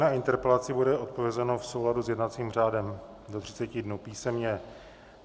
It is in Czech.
Na interpelaci bude odpovězeno v souladu s jednacím řádem do 30 dnů písemně.